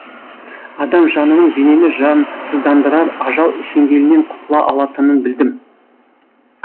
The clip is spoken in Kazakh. адам жанының денені жансыздандырар ажал шеңгелінен құтыла алатынын білдім